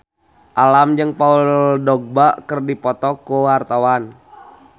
Alam jeung Paul Dogba keur dipoto ku wartawan